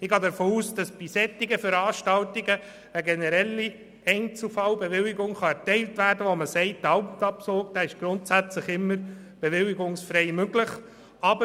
Ich gehe davon aus, dass bei solchen Veranstaltungen eine generelle Einzelfallbewilligung erteilt werden kann, sodass der Alpabzug immer bewilligungsfrei möglich ist.